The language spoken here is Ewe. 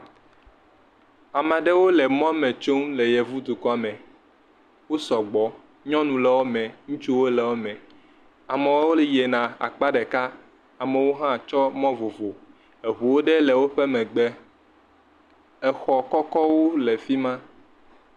Ama ɖewo le mɔme tsom le Yevudukɔ me. Wo sɔgbɔ. Nyɔnuwo le wome. Ŋutsuwo le wome. Amewo yiena akpa ɖeka. Amewo hã tsɔ mɔ vovovo. Eŋuwo ɖewo le woƒe megbe. Exɔ kɔkɔwo le fi ma.